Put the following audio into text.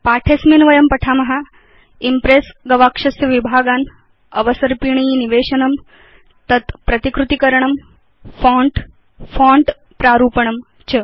अस्मिन् पाठे वयं पठाम इम्प्रेस् गवाक्षस्य विभागान् अवसर्पिणी निवेशनं तत् प्रतिकृति करणं फोंट फोंट प्रारूपणं च